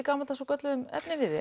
gamaldags og gölluðum efnivið